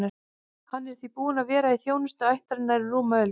Hann er því búinn að vera í þjónustu ættarinnar í rúma öld.